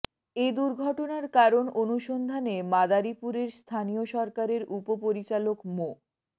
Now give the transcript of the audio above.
এ দুর্ঘটনার কারণ অনুসন্ধানে মাদারীপুরের স্থানীয় সরকারের উপপরিচালক মো